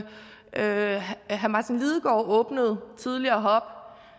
herre martin lidegaard åbnede tidligere